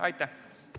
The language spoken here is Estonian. Aitäh!